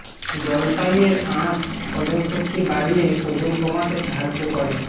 জলপাই এর আঁশ হজমশক্তি বাড়িয়ে ওজন কমাতে সাহায্য করে